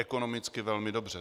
Ekonomicky velmi dobře.